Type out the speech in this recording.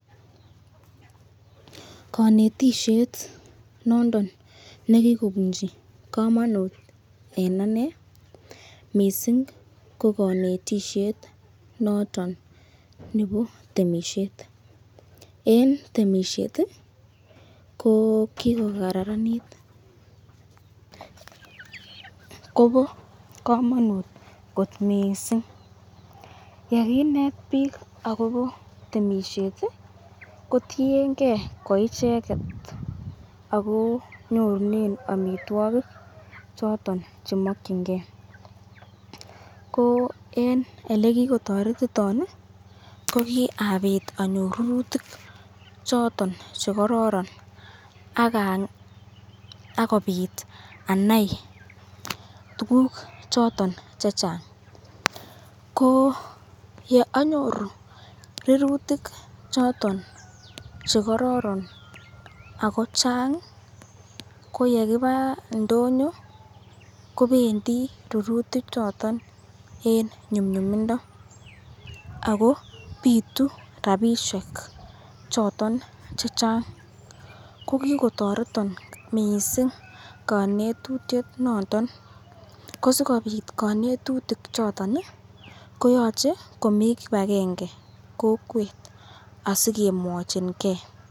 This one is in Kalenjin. Konetishet nondon ne kigobunchi komonut en ane mising kokonetishet noton nebo temisiet, en temisiet ko kigokararanit, ogo komonut kot mising ye kinet biik agobo temisiet kotienge koicheget ago nyorunen amitwogik choton che mokinge. Ko en ele kigotoretiton ko kiabit anyoru rurutik choton che kororon ak kobit anai tuguk choton che chang. Ko ye anyoru rurutik choton che kororon ago chang ii, ko ye kiba indonyo kobdeni rurutik choton en nyumnyumindo ago bitu rabishek choton che chang. Ko kigotoreton mising konetutiet noton. Ko sikobit konetutik choton ko yoche komi kipagenge kokwet asikemwochinge.